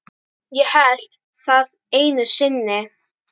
Ég hélt það einu sinni.